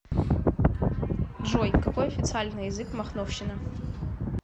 джой какой официальный язык в махновщина